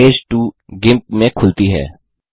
image 2 GIMP में खुलती है